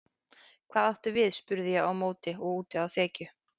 Hvað áttu við spurði ég á móti og úti á þekju.